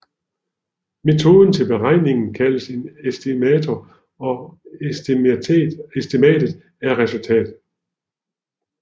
Metoden til beregningen kaldes en estimator og estimatet er resultatet